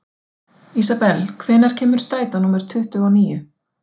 Ísabel, hvenær kemur strætó númer tuttugu og níu?